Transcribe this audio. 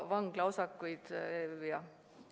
Vanglaosakuid?